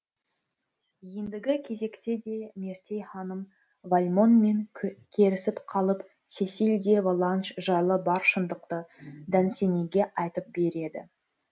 ендігі кезекте де мертей ханым вальмонмен керісіп қалып сесиль де воланж жайлы бар шындықты дансениге айтып береді